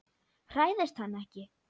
Hræðist hann ekki.